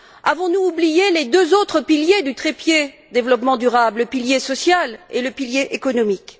Avons nous oublié les deux autres piliers du trépied du développement durable le pilier social et le pilier économique?